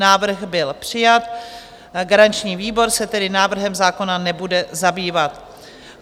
Návrh byl přijat, garanční výbor se tedy návrhem zákona nebude zabývat.